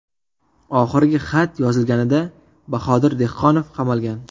Oxirgi xat yozilganida Bahodir Dehqonov qamalgan.